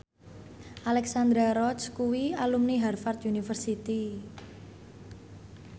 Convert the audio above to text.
Alexandra Roach kuwi alumni Harvard university